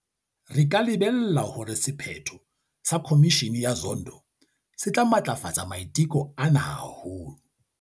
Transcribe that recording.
Re ka lebella hore sephetho sa Khomishene ya Zondo se tla matlafatsa maiteko ana haholo.